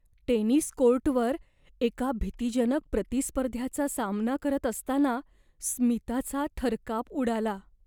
Tennis कोर्टवर एका भीतीजनक प्रतिस्पर्ध्याचा सामना करत असताना स्मिताचा थरकाप उडाला.